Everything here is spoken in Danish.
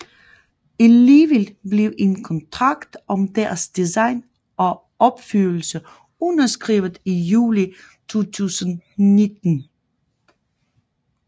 Alligevel blev en kontrakt om deres design og opførelse underskrevet i juli 2019